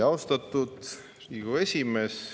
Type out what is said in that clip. Austatud Riigikogu esimees!